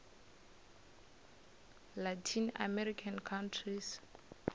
latin american countries